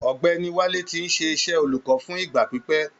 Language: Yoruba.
Ogbèni Wálé tí ń ṣe iṣẹ́ olùkọ́ fún ìgbà pípẹ́.